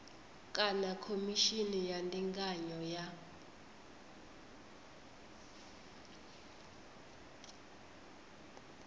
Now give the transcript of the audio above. kana khomishini ya ndinganyo ya